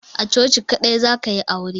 A coci kadai za ka yi aure.